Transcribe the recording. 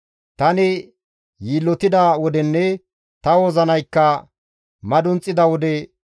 Tani yiillotida wodenne ta wozinaykka madunxida wode,